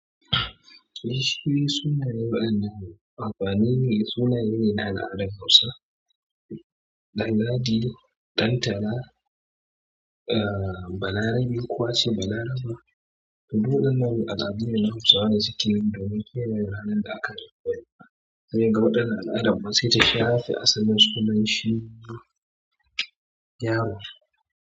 Sunaye wa'yannan amfanine sunaye ne na al'adar Hausa. Danladi, Dantala, eh, Balarabe ko ace Bala raba. Da duk waɗan nan al'adu ne na Hausawa da suke yi domin kiyaye ranar da aka haifeka. Sai kaga waɗannan al'ada, kuma sai ta shafe asalin sunan shi yaro.